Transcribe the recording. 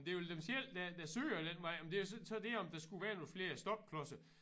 Det vel dem selv der der søger den vej om det så så det om der skulle være nogle flere stopklodser